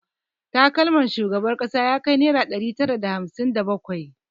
Takalmar shugaban kasa ya kai naira ɗari tara da hamsin da bakwai